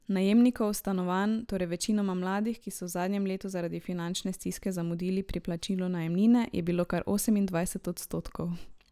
Najemnikov stanovanj, torej večinoma mladih, ki so v zadnjem letu zaradi finančne stiske zamudili pri plačilu najemnine, je bilo kar osemindvajset odstotkov.